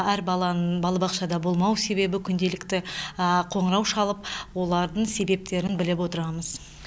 әр баланың балабақшада болмау себебі күнделікті қоңырау шалып олардың себептерін біліп отырамыз